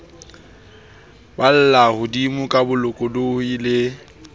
balla hodimo ka bolokolohi le